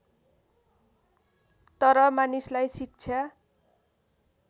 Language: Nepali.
तर मानिसलाई शिक्षा